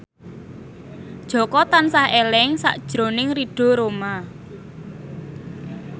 Jaka tansah eling sakjroning Ridho Roma